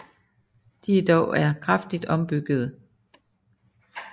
De er dog er kraftigt ombyggede